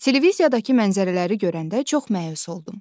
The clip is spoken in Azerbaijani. Televiziyadakı mənzərələri görəndə çox məyus oldum.